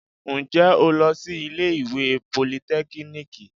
Ǹjẹ́ o lọ sí ilé ìwé politẹ́kíníìkì?